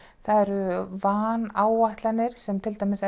það eru vanáætlanir sem til dæmis